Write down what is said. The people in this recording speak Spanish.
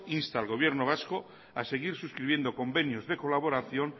insta al gobierno vasco a seguir suscribiendo convenios de colaboración